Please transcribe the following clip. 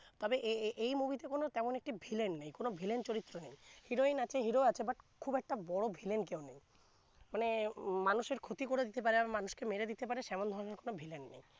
তবে এ¬ এই movie তে কোন তেমন একটি villein নেই কোন villein চরিত্র নেই heroine আছে hero আছে but খুব একটা বড় villein কেউ নেই মানে মানুষ এর ক্ষতি করে দিতে পারে মানুষকে মেরে দিতে পারে তেমন ধরনের কোন villein নেই